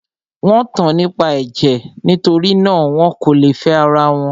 Wọ́n tan nípa ẹ̀jẹ̀; nitori náà, wọn kò lè fẹ́ ara wọn.